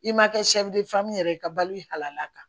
I ma kɛ yɛrɛ ye i ka balo i halala kan